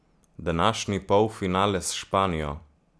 Današnji polfinale s Španijo?